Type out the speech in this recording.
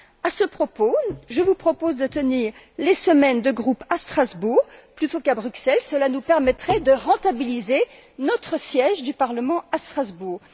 À ce propos, je vous propose de tenir les semaines de groupes à Strasbourg plutôt qu'à Bruxelles, cela nous permettrait de rentabiliser notre siège du Parlement à Strasbourg.